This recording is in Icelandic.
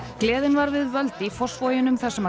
gleðin var við völd í Fossvoginum þar sem